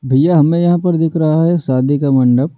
भैया हमें यहां पर दिख रहा है शादी का मंडप।